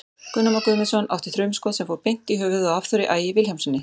Gunnar Már Guðmundsson átti þrumuskot sem fór beint í höfuðið á Hafþóri Ægi Vilhjálmssyni.